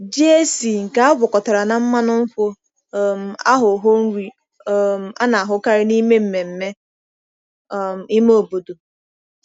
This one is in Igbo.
Ji esi nke e gwakọtara na mmanụ nkwụ um aghọwo nri um a na-ahụkarị n’ime mmemme um ime obodo.